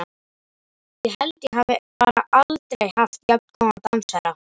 Ég held ég hafi bara aldrei haft jafn góðan dansherra!